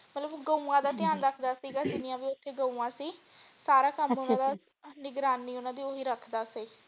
ਮਤਲਬ ਉਹ ਗਊਆਂ ਦਾ ਧਿਆਨ ਹਾਂਜੀ ਰੱਖਦਾ ਸੀਗਾ ਜਿੰਨੀਆਂ ਵੀ ਓਥੇ ਗਊਆਂ ਸੀ ਸਾਰਾ ਅੱਛਾ ਅੱਛਾ ਗਊਆਂ ਦੀ ਨਿਗਾਨੀ ਓਨਾ ਦੀ ਓਹੀ ਰੱਖਦਾ ਸੀ।